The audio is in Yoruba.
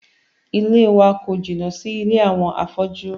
Ilée wa kò jìnnà sí ilé àwọn afọ́jú.